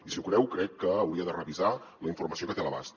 i si ho creu crec que hauria de revisar la informació que té a l’abast